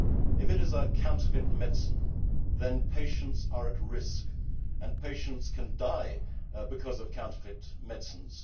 If it is a counterfeit medicine, then patients are at risk and patients can die because of counterfeit medicines.